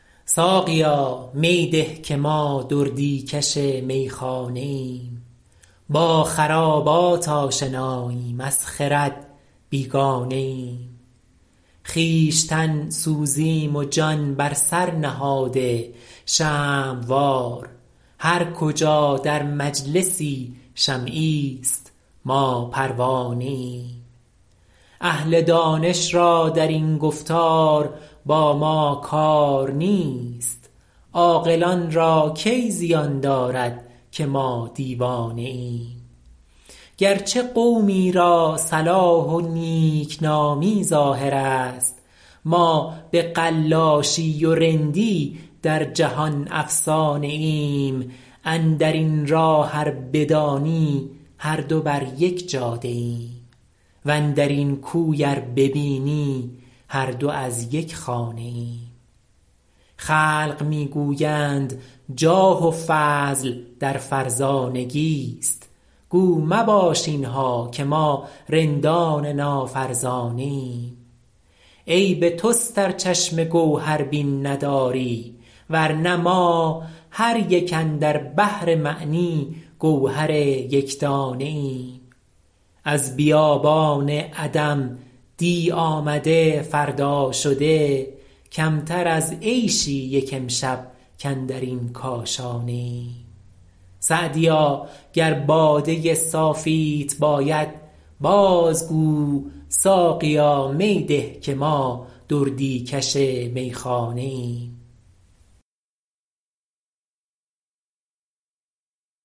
ساقیا می ده که ما دردی کش میخانه ایم با خرابات آشناییم از خرد بیگانه ایم خویشتن سوزیم و جان بر سر نهاده شمع وار هر کجا در مجلسی شمعیست ما پروانه ایم اهل دانش را در این گفتار با ما کار نیست عاقلان را کی زیان دارد که ما دیوانه ایم گرچه قومی را صلاح و نیکنامی ظاهر است ما به قلاشی و رندی در جهان افسانه ایم اندر این راه ار بدانی هر دو بر یک جاده ایم واندر این کوی ار ببینی هر دو از یک خانه ایم خلق می گویند جاه و فضل در فرزانگیست گو مباش اینها که ما رندان نافرزانه ایم عیب توست ار چشم گوهربین نداری ورنه ما هر یک اندر بحر معنی گوهر یکدانه ایم از بیابان عدم دی آمده فردا شده کمتر از عیشی یک امشب کاندر این کاشانه ایم سعدیا گر باده صافیت باید باز گو ساقیا می ده که ما دردی کش میخانه ایم